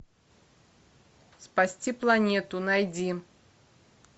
спасти планету найди